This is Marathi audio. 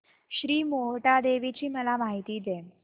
श्री मोहटादेवी ची मला माहिती दे